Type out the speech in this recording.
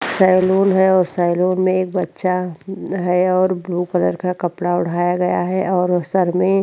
salon है और salon में एक बच्चा है और ब्लू कलर का कपड़ा ओढ़ाया गया है और सर में --